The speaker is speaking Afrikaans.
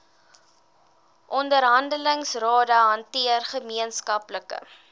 onderhandelingsrade hanteer gemeenskaplike